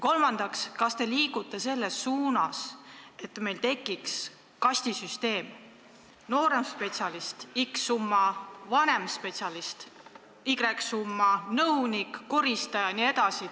Kolmandaks, kas te liigute selles suunas, et meil tekiks kastisüsteem: nooremspetsialist – summa x, vanemspetsialist – summa y, nõunik, koristaja jne?